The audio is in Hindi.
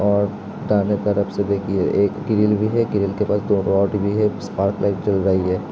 और दाहिने तरफ से देखिए एक किरण है किरण के पास दो रॉड भी है स्पॉटलाइट जल रही है।